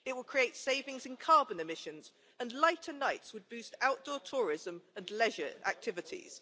It would create savings in carbon emissions, and lighter nights would boost outdoor tourism and leisure activities.